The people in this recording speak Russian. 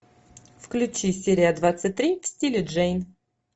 включи серия двадцать три в стиле джейн